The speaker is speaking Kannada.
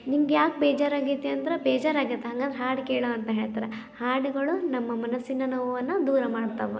ನಿಮ್ಗ್ಯಾಕ್ ಬೇಜಾರ್ ಆಗೇತಿ ಅಂದ್ರೆ ಬೇಜಾರ್ ಅಗ್ಯಾತ್ ಅಂದ್ರೆ ಹಾಡು ಕೇಳು ಅಂತ ಹೇಳ್ತಾರೆ ಹಾಡುಗಳು ನಮ್ಮ ಮನಸಿನ ನೋವನ್ನು ದೂರ ಮಾಡ್ತವು